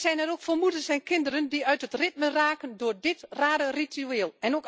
Wij zijn er ook voor moeders, kinderen en ouderen die uit hun ritme raken door dit rare ritueel.